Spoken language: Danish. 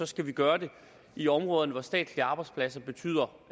skal vi gøre det i områder hvor statslige arbejdspladser betyder